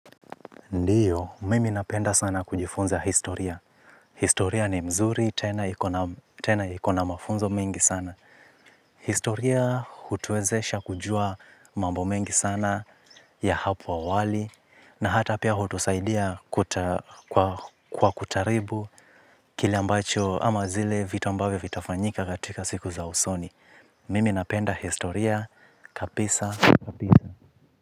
Ndiyo, mimi napenda sana kujifunza historia. Historia ni mzuri tena iko na mafunzo mengi sana. Historia hutuwezesha kujua mambo mengi sana ya hapo awali. Na hata pia hutusaidia kwa kutaribu kile ambacho ama zile vitu ambavyo vitafanyika katika siku za usoni. Mimi napenda historia, kabisa.